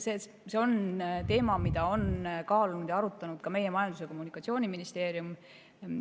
See on teema, mida on kaalunud ja arutanud ka meie Majandus‑ ja Kommunikatsiooniministeerium.